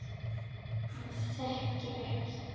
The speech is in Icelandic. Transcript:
Hann þekkir ekki